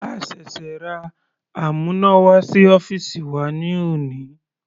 A ṣẹ̀ṣẹ̀ ra amúnáwá sí ọ́fìsì wa ní òní.